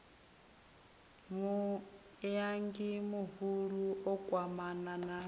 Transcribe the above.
muiangi muhulu o kwamana na